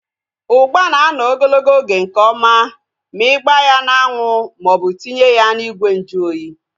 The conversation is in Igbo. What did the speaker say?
Ugba na anọ ogologo oge nke ọma ma ịgba ya n'anwu maọbụ tinye ya n'ime ìgwè nju oyi